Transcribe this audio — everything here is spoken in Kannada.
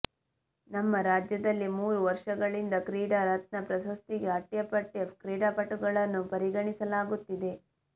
ನಮ್ಮ ರಾಜ್ಯದಲ್ಲಿ ಮೂರು ವರ್ಷಗಳಿಂದ ಕ್ರೀಡಾ ರತ್ನ ಪ್ರಶಸ್ತಿಗೆ ಅಟ್ಯಾ ಪಟ್ಯಾ ಕ್ರೀಡಾಪಟುಗಳನ್ನು ಪರಿಗಣಿಸಲಾಗುತ್ತಿದೆ